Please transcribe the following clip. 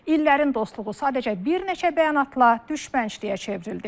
İllərin dostluğu sadəcə bir neçə bəyanatla düşmənçiliyə çevrildi.